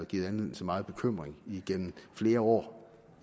givet anledning til megen bekymring igennem flere år